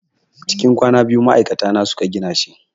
Cikin kwana biyu ma'aikata na su ka gina shi.